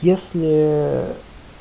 если